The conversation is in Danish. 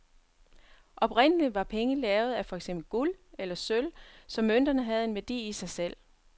Oprindeligt var penge lavet af for eksempel guld eller sølv, så mønterne havde en værdi i sig selv.